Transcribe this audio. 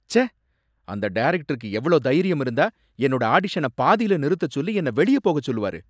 ச்சே! அந்த டைரக்டருக்கு எவ்ளோ தைரியம் இருந்தா என்னோட ஆடிஷன பாதில நிறுத்தச் சொல்லி என்னை வெளியே போக சொல்லுவாரு